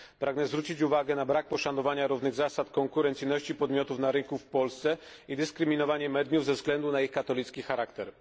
Pragnę zwrócić uwagę na brak poszanowania równych zasad konkurencyjności podmiotów na rynku w Polsce i dyskryminowanie mediów ze względu na ich katolicki charakter.